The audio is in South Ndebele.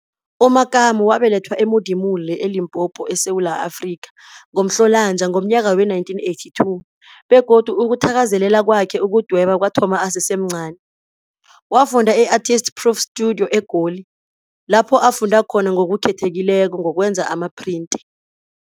U-Makamo wabelethwa e-Modimolle, e-Limpopo, eSewula Afrika, ngoMhlolanja wee-1982, begodu ukuthakazelela kwakhe ukudweba kwathoma asesemncani. Wafunda e-Artist Proof Studio e-Goli, lapho afunda khona ngokukhethekileko ngokwenza amaphrinti.